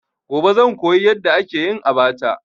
Gobe zan koyi yadda ake yin abacha.